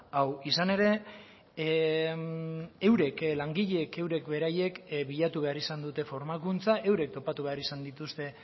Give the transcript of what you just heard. hau izan ere eurek langileek eurek beraiek bilatu behar izan dute formakuntza eurek topatu behar izan dituzte